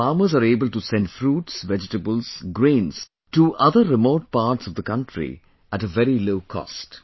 Now the farmers are able to send fruits, vegetables, grains to other remote parts of the country at a very low cost